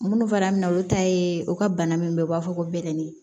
Minnu fana bɛ na olu ta ye u ka bana min bɛ u b'a fɔ ko bɛlɛnin